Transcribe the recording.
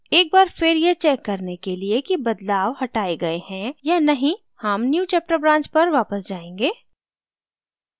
एक बार फिर यह check करने के लिए कि बदलाव हटाए गए हैं या नहीं हम newchapter branch पर वापस जायेंगे